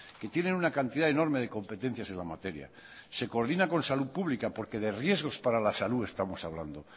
que tienen una cantidad enorme de competencias en la materia se coordina con salud pública porque de riesgos para la salud estamos hablando